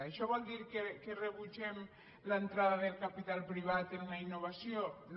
això vol dir que rebutgem l’entrada del capital privat en la innovació no